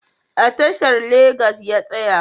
A tashar Legas ya tsaya